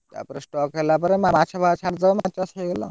ତା ପରେ stock ହେଲା ପରେ ମାଛ ଫାଛ ଛାଡିଦବ ମାଛ ଚାଷ ହେଇଗଲା ଆଉ।